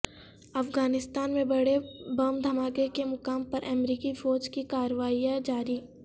افغانستان میں بڑے بم دھماکے کے مقام پر امریکی فوج کی کارروائیاں جاری